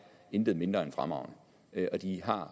intet mindre end fremragende og de har